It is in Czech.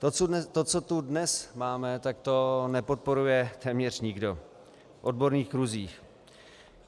To, co tu dnes máme, tak to nepodporuje téměř nikdo v odborných kruzích.